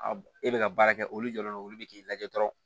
A e bɛ ka baara kɛ olu jɔlen don olu bɛ k'i lajɛ dɔrɔn